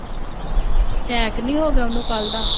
attack ਨਹੀਂ ਹੋ ਗਿਆ ਉਹਨੂੰ ਕੱਲ੍ਹ ਦਾ